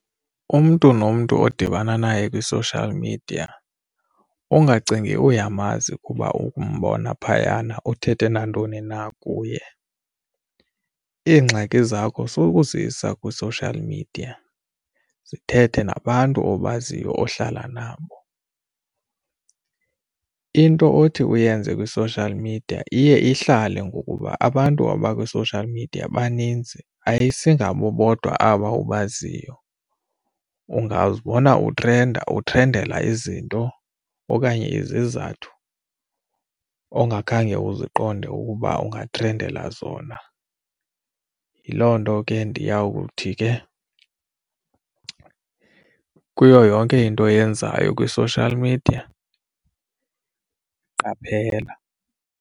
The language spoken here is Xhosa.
Umntu nomntu odibana naye kwi-social media ungacingi uyamazi kuba umbona phayana uthethe nantoni na kuye. Iingxaki zakho sokuzisa kwi-social media, zithethe nabantu obaziyo ohlala nabo. Into othi uyenze kwi-social media iye ihlale ngokuba abantu abakwi social media baninzi ayisingabo bodwa aba obaziyo. Ungazibona utrenda, utrendela izinto okanye izizathu ongakhange uzuqonde ukuba ungatrendela zona. Yiloo nto ke ndiyakuthi ke kuyo yonke into oyenzayo kwi-social media, qaphela,